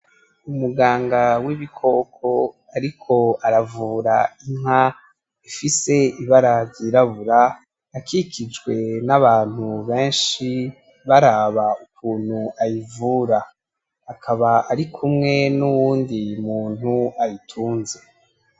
Umuganga w'ibikoko ariko aravura inka ifise ibara ryirabura akikijwe n'abantu benshi baraba ukuntu ayivura akaba arikumwe nuwundi muntu ayitunze.